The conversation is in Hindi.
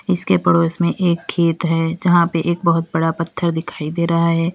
इसके पड़ोस में एक खेत है जहां पे एक बहोत बड़ा पत्थर दिखाई दे रहा है।